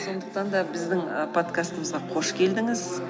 сондықтан да біздің ы подкастымызға қош келдіңіз